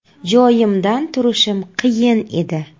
Joyimdan turishim qiyin edi.